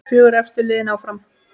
Fjögur efstu liðin áfram.